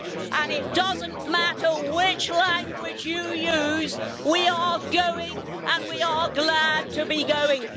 And it doesn't matter which language you use we are going, and we are glad to be going.